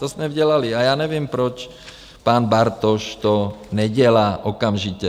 To jsme dělali a já nevím, proč pan Bartoš to nedělá okamžitě.